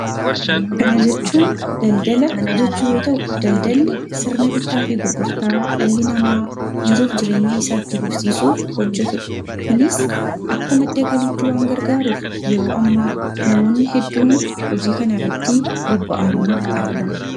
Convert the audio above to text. Kana jechuun daldala jechuu yoo ta'u, daldalli sirna bittaa fi gurgurtaa dhalli namaa jiruuf jireenya isaa itti fufsiisuuf hojjetu dha. Kunis akka madda galiitti waan gargaaruuf, yeroo ammaa namoonni hedduun hojii kanarratti bobba'anii argamu.